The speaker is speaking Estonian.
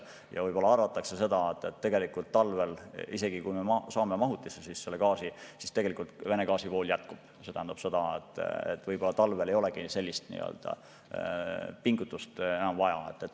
Ja võib-olla arvatakse seda, et tegelikult talvel, isegi kui me mahutisse gaasi saame, siis tegelikult Vene gaasi vool jätkub ja võib-olla talvel ei olegi sellist pingutust enam vaja.